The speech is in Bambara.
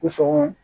Ko sɔgɔ